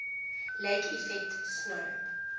lake effect snow